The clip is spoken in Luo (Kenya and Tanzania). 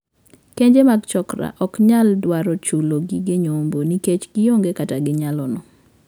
Kenje mag 'chokra' ok nyal dwaro chulo gige nyombo nikech gioonge kata gi nyalono.